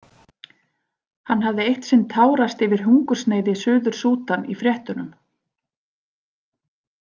Hann hafði eitt sinn tárast yfir hungursneyð í Suður- Súdan í fréttunum.